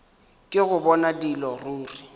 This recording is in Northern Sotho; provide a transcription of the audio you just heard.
ke go bona dilo ruri